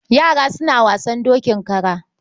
Yara suna wasan dokin kara.